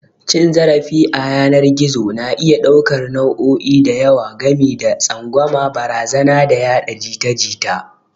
Cin zarafi a yanar gizo na iya ɗaukar nau'o'i da yawa, gami da tsangwama, barazana, da yada jita-jita